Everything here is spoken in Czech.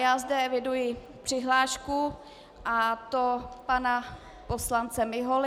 Já zde eviduji přihlášku, a to pana poslance Miholy.